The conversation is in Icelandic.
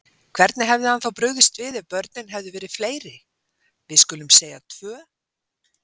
Hvernig hefði hann þá brugðist við ef börnin hefðu verið fleiri. við skulum segja tvö?